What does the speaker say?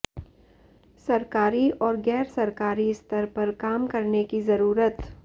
सरकारी और गैरसरकारी स्तर पर काम करने की जरूरत